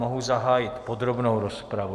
Mohu zahájit podrobnou rozpravu.